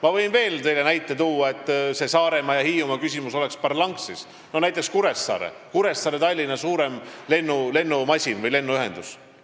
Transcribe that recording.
Ma võin teile veel näite tuua, et see Saaremaa ja Hiiumaa küsimus oleks parlanksis: Kuressaare ja Tallinna lennuühendus.